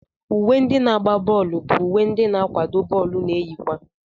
Uwe ndị na-agba bọọlu bụ uwe ndị n'akwado bọọlụ na-eyi kwa.